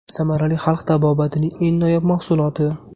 Samarali xalq tabobatining eng noyob mahsuloti.